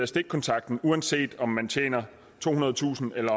stikkontakten uanset om man tjener tohundredetusind